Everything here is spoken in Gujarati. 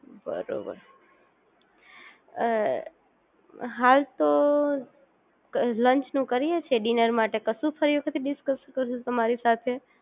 બરોબર અ હાલ તો લાંચ નું કરીએ છે ડિનર મા કશુંજ થયું નથી ડિસકસ તમારી સાથે